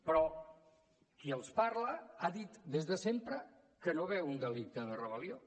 però qui els parla ha dit des de sempre que no veu un delicte de rebel·lió